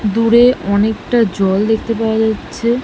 দূরে অনেকটা জল দেখতে পাওয়া যাচ্ছে।